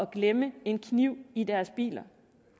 glemme en kniv i deres biler